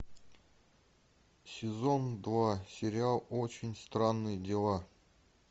сезон два сериал очень странные дела